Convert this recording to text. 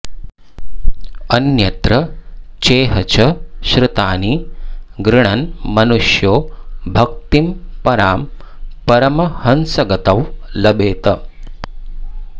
अन्यत्र चेह च श्रुतानि गृणन् मनुष्यो भक्तिं परां परमहंसगतौ लभेत